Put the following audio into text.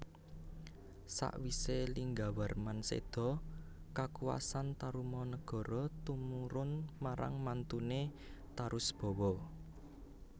Sawisé Linggawarman séda kakuwasan Tarumanagara tumurun marang mantuné Tarusbawa